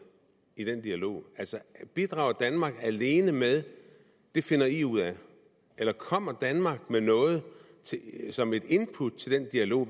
i den dialog bidrager danmark alene med det finder i ud af eller kommer danmark med noget som input til den dialog